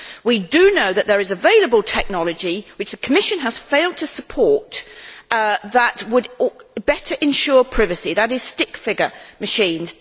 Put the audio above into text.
We know that there is available technology which the Commission has failed to support that would better ensure privacy, in the shape of stick figure machines.